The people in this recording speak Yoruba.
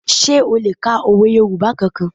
Sé o le ka òwe Yorùbá kankan?